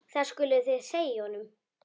Það skuluð þið segja honum!